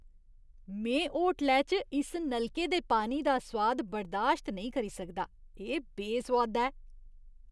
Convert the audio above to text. में होटलै च इस नलके दे पानी दा सोआद बर्दाश्त नेईं करी सकदा, एह् बेसोआदा ऐ।